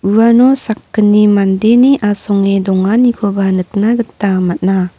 uano sakgni mandeni asonge donganikoba nikna gita man·a.